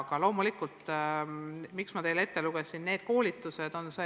Aga miks ma lugesin ette need koolitused?